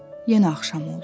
Yenə axşam oldu.